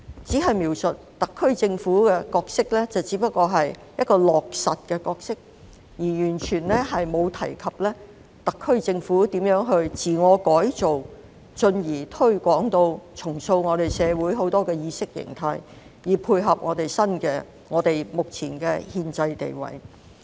他所描述特區政府的角色，只不過是一個落實的角色，而完全沒有提及特區政府如何自我改造，進而重塑我們社會眾多的意識形態，以配合我們目前的憲制地位。